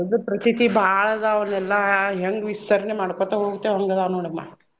ಹಬ್ಬದ್ ಪ್ರತೀತಿ ಬಾಳ ಅದಾವ ಅವ್ನೆಲ್ಲಾ ಹೆಂಗ್ ವಿಸ್ತರಣೆ ಮಾಡ್ಕೊತ ಹೋಗ್ತೇವ ಹಂಗ್ ಅದಾವ ನೋಡಮ್ಮಾ.